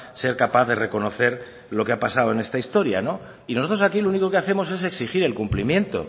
ser capaz de reconocer lo que ha pasado en esta historia y nosotros aquí lo único que hacemos es exigir el cumplimiento